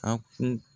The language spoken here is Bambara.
A kun